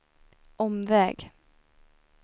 omväg